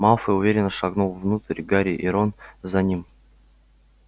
малфой уверенно шагнул внутрь гарри и рон за ним